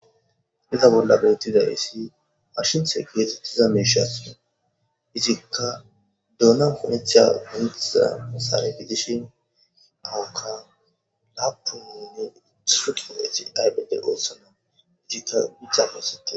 Iza bolla beettida issi arshinthe keete tiza meeshas izikka duona ponetheya gonetiza musare bidishin ahukka laapu minyo ituu qiolethi aybede ootsana izikka giccapesite.